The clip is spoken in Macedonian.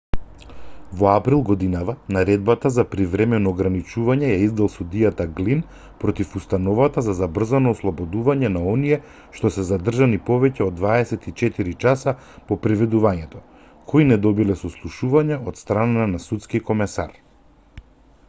во април годинава наредбата за привремено ограничување ја издаде судијата глин против установата за забрзано ослободување на оние што се задржани повеќе од 24 часа по приведувањето кои не добиле сослушување од страна на судски комесар